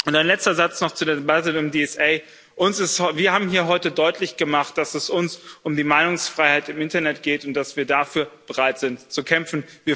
Und ein letzter Satz noch zu dem weiteren DSA Wir haben hier heute deutlich gemacht, dass es uns um die Meinungsfreiheit im Internet geht und dass wir bereit sind, dafür zu kämpfen.